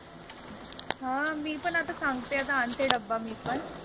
हा मी पण अता सांगते अता आनते डब्बा मी पण.